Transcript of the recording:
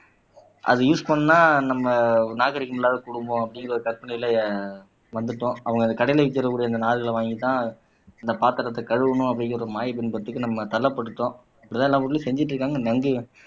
அதை யூஸ் பண்ணா நம்ம நாகரிகம் இல்லாத குடும்பம் அப்படிங்கற ஒரு கற்பனையில வந்துட்டோம் அவங்க அந்த கடையில விக்கக்கூடிய அந்த நார்களை வாங்கித்தான் இந்த பாத்திரத்தை கழுவணும் அப்படிங்கிற ஒரு மாயை பிம்பத்துக்கு நம்ம தள்ளப்பட்டோம் இப்படித்தான் எல்லா ஊர்லயும் செஞ்சுட்டு இருக்காங்க